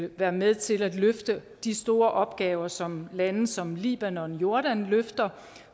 være med til at løfte de store opgaver som libanon som libanon og jordan løfter